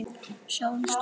Sjáumst þá.